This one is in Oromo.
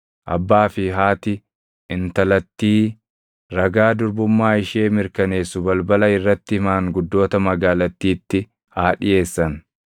abbaa fi haati intalattii ragaa durbummaa ishee mirkaneessu balbala irratti maanguddoota magaalattiitti haa dhiʼeessan.